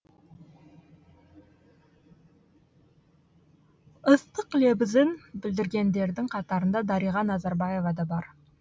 ыстық лебізін білдіргендердің қатарында дариға назарбаева да бар